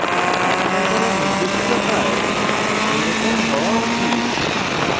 আপনার করা নির্দেশিত কাজ এরকম হওয়া উচিত